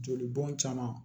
Joli bɔn caman